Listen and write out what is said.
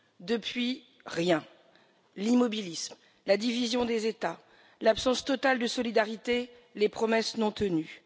Depuis, rien, l'immobilisme, la division des États, l'absence totale de solidarité, les promesses non tenues.